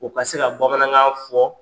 O ka se ka bamanankan fɔ.